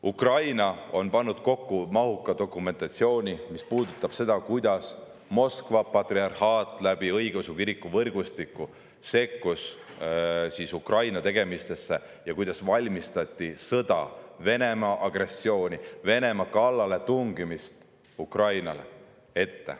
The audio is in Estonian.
Ukraina on pannud kokku mahuka dokumentatsiooni, mis puudutab seda, kuidas Moskva patriarhaat õigeusu kiriku võrgustiku kaudu sekkus Ukraina tegemistesse ja kuidas valmistati ette sõda, Venemaa kallaletungi Ukrainale.